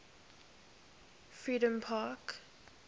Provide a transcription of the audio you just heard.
freedompark